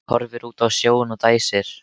Horfir út á sjóinn og dæsir.